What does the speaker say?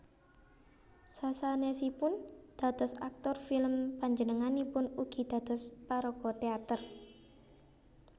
Sasanèsipun dados aktor film panjenenganipun ugi dados paraga téater